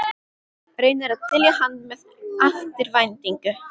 Reynir að dylja hann með eftirvæntingu.